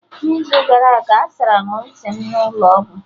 N'izu gara aga asara m ntị m n'ụlọ ọgwụ